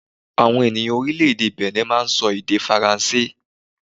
Àwọn ènìyàn Orílèdè Benni máa n sọ èdè faransé